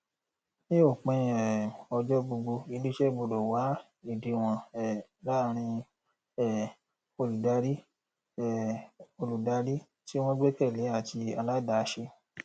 ní òpin um ọjọ gbogbo ilé iṣẹ gbọdọ wá ìdíwọn um láàrín um olùdarí um olùdarí tí wọn gbẹkẹlé àti aládàáṣe